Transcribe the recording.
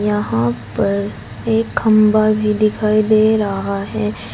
यहां पर एक खंभा भी दिखाई दे रहा है।